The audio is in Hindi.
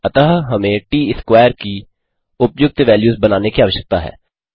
अतः हमें ट स्कवैर की उपयुक्त वैल्यूज़ बनाने की आवश्यकता है